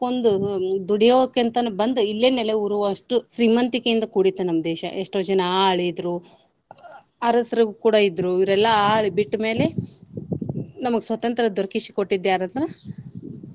ಹುಡಕೊಂದು ದುಡಿಯೋಕೆ ಅಂತಾನೆ ಬಂದ ಇಲ್ಲೇ ನೆಲೆಯೂರುವಷ್ಟು ಶ್ರೀಮಂತಿಕೆಯಿಂದ ಕೂಡಿತ್ತು ನಮ್ಮ ದೇಶ. ಎಷ್ಟೋ ಜನ ಆಳಿದ್ರು ಅರಸ್ರು ಕೂಡಾ ಇದ್ರು ಇವ್ರ ಎಲ್ಲಾ ಆಳಿ ಬಿಟ್ಟ ಮೇಲೆ ನಮಗ ಸ್ವತಂತ್ರ ದೊರಕಿಸಿ ಕೊಟ್ಟಿದ್ದ ಯಾರಂದ್ರೆ.